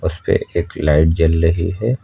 उसपे एक लाइट जल रही है।